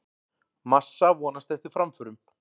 Massa vonast eftir framförum